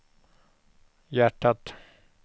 hjärtat